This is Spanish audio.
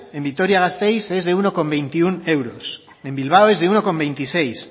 en vitoria gasteiz es de uno coma veintiuno euros en bilbao es de uno coma veintiséis